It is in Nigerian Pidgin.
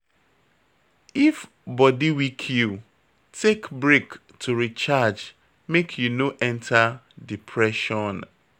If body weak you, take brake to recharge make you no enter depression